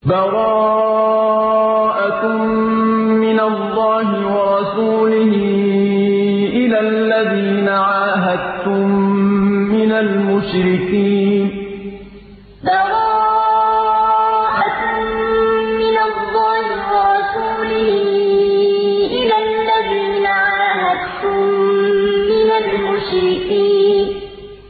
بَرَاءَةٌ مِّنَ اللَّهِ وَرَسُولِهِ إِلَى الَّذِينَ عَاهَدتُّم مِّنَ الْمُشْرِكِينَ بَرَاءَةٌ مِّنَ اللَّهِ وَرَسُولِهِ إِلَى الَّذِينَ عَاهَدتُّم مِّنَ الْمُشْرِكِينَ